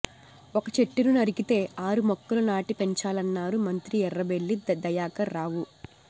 ఒక్క చెట్టును నరికితే ఆరు మొక్కలు నాటి పెంచాలన్నారు మంత్రి ఎర్రబెల్లి దయాకర్ రావు